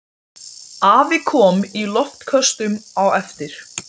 Ég tók eftir lítilli skrifblokk sem lá í gólfinu.